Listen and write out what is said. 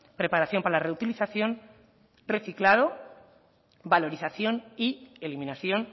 preparación para la reutilización reciclado valorización y eliminación